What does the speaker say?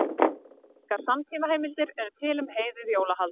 Engar samtímaheimildir eru til um heiðið jólahald.